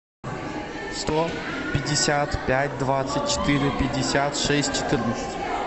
сто пятьдесят пять двадцать четыре пятьдесят шесть четырнадцать